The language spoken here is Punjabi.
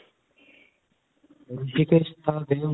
ਰਿਸ਼ੀਕੇਸ .